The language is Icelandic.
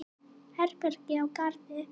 Herbergi á Garði.